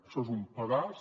això és un pedaç